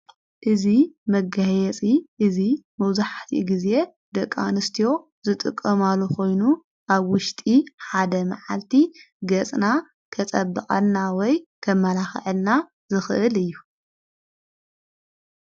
እዙ መገህየጺ እዙይ መብዛሕቲኡ ጊዜ ደቅ አንስትዮ ዝጥቕማሉ ኾይኑ ኣብ ውሽጢ ሓደ መዓልቲ ገጽና ከጸብቐና ወይ ከመላኽአልና ዝኽእል እዩ::